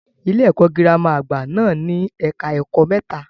Ilé-ẹ̀kọ́ girama àgbà náà ní ẹka ẹ̀kọ́ mẹ́ta.